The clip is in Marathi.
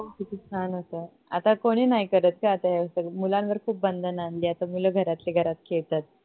किती छान होत आता कोणी नाही करत ग आता हे अस मुलांवर खूप बंधन आणली आता मूल घरातली घरात खेळतात